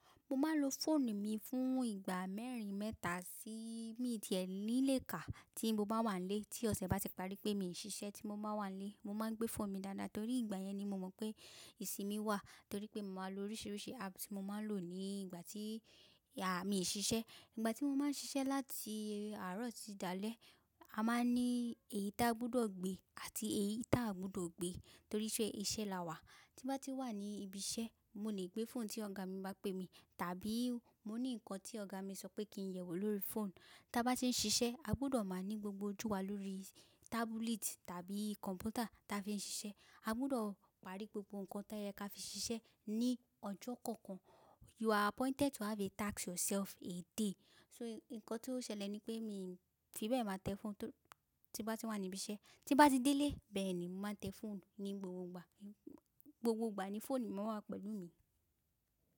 Mo máa ń lo fóònù mi fún ìgbà mẹ́rin mẹ́ta sí míì tíẹ̀ nílẹ̀ ká tí mo bá wà n lé. Tí ọ̀sẹ̀ bá ti parí pé mi ò ṣiṣẹ́ tí mo máa ń wà nílé, mo máa ń gbé fóònù mi dáadáa torí ìgbà yẹn ni mo mọ̀ pé ìsinmi wà torí pé mo máa ń lo oríṣiríṣi app tí mo máa ń lò ní ìgbà tí mi ò ṣiṣẹ́. Ìgbà tí mo máa ń ṣiṣẹ́ láti àárọ̀ sí ìdálẹ̀, a máa ní èyí tí a gbọdọ̀ gbé àti èyí tí a ò gbọdọ̀ gbé toríṣẹ́ iṣẹ́ la wà. Tí mo bá ti wà ní ibi iṣẹ́, mo lè gbé fóònù tí ọ̀gá mi bá pè mi tàbí mo ní nǹkan tí ọ̀gá mi sọ pé kí n yẹ̀ wò lórí fóònù. Tí a bá ti ń ṣiṣẹ́, a gbọdọ̀ máa ní gbogbo ojú wa lórí tábúlẹ̀tì tàbí kọ̀m̀pútà tí a fi ń ṣiṣẹ́. A gbọdọ̀ parí gbogbo nǹkan tí a yẹ kí á fi ṣiṣẹ́ ní ọjọ́ kọ̀ọ̀kan. You are appointed to have a task yourself a day. So, ǹkan tí ó ṣẹlẹ̀ ni pé mi fi bẹ́ẹ̀ máa tẹ fóònù tó tí mo bá ti wà ní ibi iṣẹ́. Tí mo bá ti dé ilé bẹ́ẹ̀ ni màá tẹ fóònù ní gbogbo ìgbà. Gbogbo ìgbà ni fóònù máa wà pẹ̀lú mi.